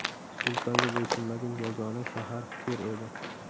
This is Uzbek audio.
Sultonga bo‘ysunmagan yagona shahar Tir edi.